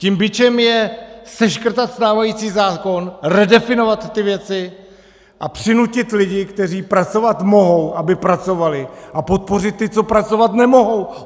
Tím bičem je seškrtat stávající zákon, redefinovat ty věci a přinutit lidi, kteří pracovat mohou, aby pracovali, a podpořit ty, co pracovat nemohou.